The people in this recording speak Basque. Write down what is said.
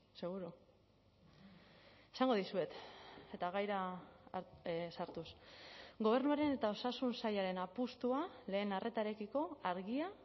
seguru esango dizuet eta gaira sartuz gobernuaren eta osasun sailaren apustua lehen arretarekiko argia